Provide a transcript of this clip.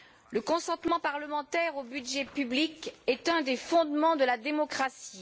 Le consentement parlementaire au budget public est un des fondements de la démocratie.